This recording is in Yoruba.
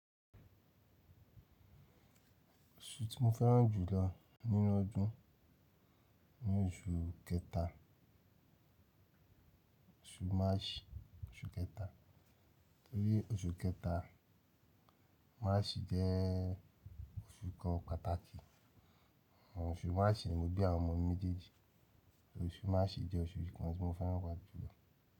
Oṣù tí mo fẹ́ràn jù lọ nínú ọdún ni oṣù kẹta, oṣù Maṣi. Torí oṣù kẹta, Maṣi jẹ́ oṣù kan pàtàkì. Ọ̀ṣù Maṣi ni mo bí àwọn ọmọ mi méjèèjì, oṣù Maṣi jẹ́ oṣù kan tí mo fẹ́ràn jùlọ.